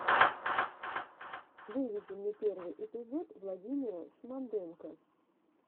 выведи мне первый эпизод владимира шмонденко